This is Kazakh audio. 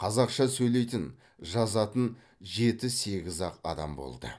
қазақша сөйлейтін жазатын жеті сегіз ақ адам болды